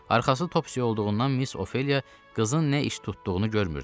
Arxası Topsyə olduğundan Miss Ofeliya qızın nə iş tutduğunu görmürdü.